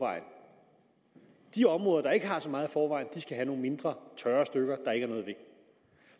de områder der ikke har så meget i forvejen skal have nogle mindre tørre stykker